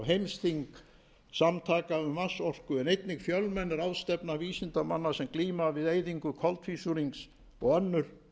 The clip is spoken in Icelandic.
heimsþing samtaka um vatnsorku en einnig fjölmenn ráðstefna vísindamanna sem glíma við eyðingu koltvísýrings og önnur